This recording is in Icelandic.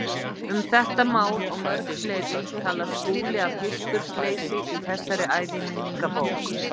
Um þetta mál og mörg fleiri talar Skúli af hispursleysi í þessari æviminningabók.